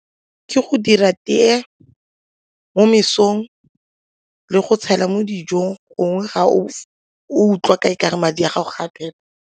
Ke go dira tee mo mesong le go tshela mo dijong gongwe ga o utlwa ka e kare madi a gago gape.